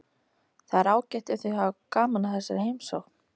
Það er ágætt ef þau hafa gaman af þessari heimsókn.